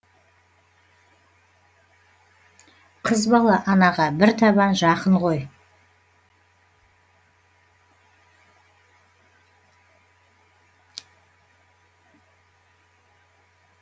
қыз бала анаға бір табан жақын ғой